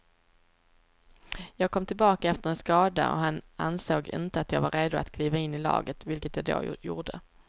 Jag kom tillbaka efter en skada och han ansåg inte att jag var redo att kliva in i laget, vilket jag då gjorde.